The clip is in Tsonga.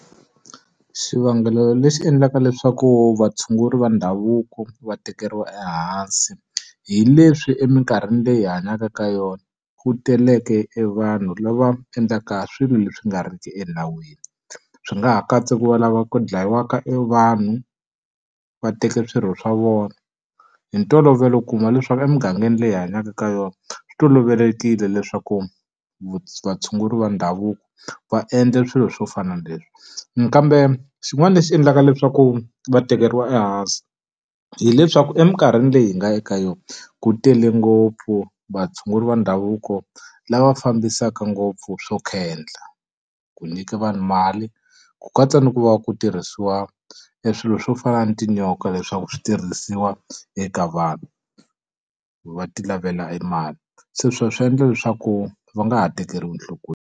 Xivangelo lexi endlaka leswaku vatshunguri va ndhavuko va tekeriwa ehansi, hi leswi eminkarhini leyi hi hanyaka ka yona ku teleke e vanhu lava endlaka swilo leswi nga riki enawini. Swi nga ha katsa ku va lava ku dlayiwaka e vanhu, va teka swirho swa vona. Hi ntolovelo u kuma leswaku emugangeni leyi hi hanyaka ka yona swi tolovelekile leswaku vatshunguri va ndhavuko va endla swilo swo fana na leswi. Kambe xin'wana lexi endlaka leswaku va tekeriwa ehansi, hileswaku eminkarhini leyi hi nga eka yona ku tele ngopfu vatshunguri va ndhavuko lava fambisaka ngopfu swo khendla, ku nyika vanhu mali, ku katsa ni ku va ku tirhisiwa e swilo swo fana na tinyoka leswaku switirhisiwa eka vanhu, va ti lavela e mali. Se swi va swi endla leswaku va nga ha tekeriwi nhlokweni.